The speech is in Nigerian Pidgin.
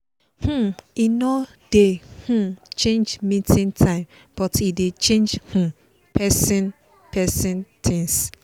um e no dey um change meeting time but e dey change um person person things